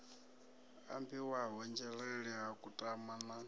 ambiwaho nzhelele ha kutama na